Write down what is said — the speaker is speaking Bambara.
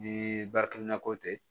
Ni bariki nakɔ tɛ